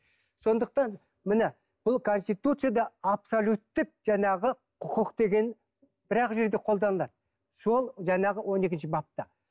сондықтан міне бұл конституцияда абсолюттік жаңағы құқық деген бір ақ жерде қолданылады сол жаңағы он екінші бапта